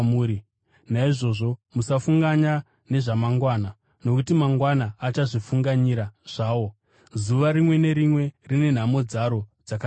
Naizvozvo musafunganya nezvamangwana nokuti mangwana achazvifunganyira zvawo. Zuva rimwe nerimwe rine nhamo dzaro dzakarikwanira.